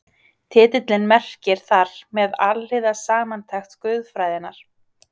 Titillinn merkir þar með Alhliða samantekt guðfræðinnar.